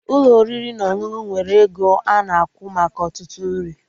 Ụlọ oriri na ọṅụṅụ nwere ego ana akwụ maka ọtụtụ nri